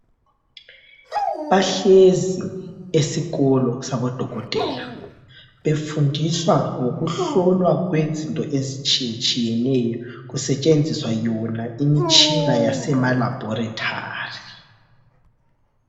Bahlezi esikolo sabodokotela ,befundiswa ngokuhlolwa kwezinto ezitshiyetshiyeneyo .Kusetshenziswa yona imitshina yasemaLaboretari.